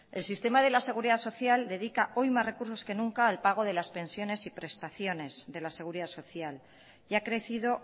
el sistema de la seguridad social dedica hoy más recursos que nunca al pago de las pensiones y prestaciones de la seguridad social y ha crecido